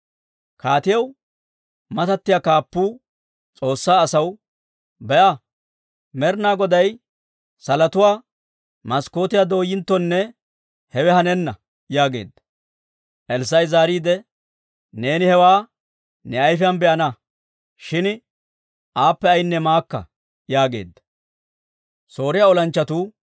Kaatiyaw matattiyaa kaappuu S'oossaa asaw, «Be'a, Med'inaa Goday salotuwaa maskkootiyaa dooyinttonne hewe hanenna» yaageedda. Elssaa'i zaariide, «Neeni hewaa ne ayfiyaan be'ana; shin aappe ayinne maakka» yaageedda.